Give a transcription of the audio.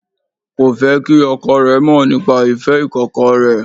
Kò fé kí ọkọ rẹ̀ mọ̀ nípa ìfẹ́ ìkọ̀kọ̀ rẹ̀